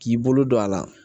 K'i bolo don a la